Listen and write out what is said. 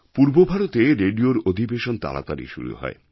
পূর্ব ভারতে রেডিওর অধিবেশন তাড়াতাড়ি শুরু হয়